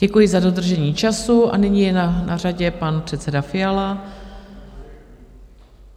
Děkuji za dodržení času a nyní je na řadě pan předseda Fiala.